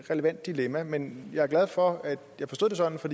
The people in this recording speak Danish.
relevant dilemma men jeg er glad for at jeg forstod det sådan for